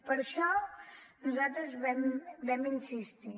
per això nosaltres hi vam insistir